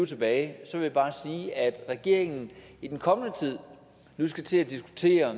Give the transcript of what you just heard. tilbage vil jeg bare sige at regeringen i den kommende tid skal til at diskutere